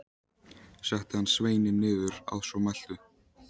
Setti hann sveininn niður að svo mæltu.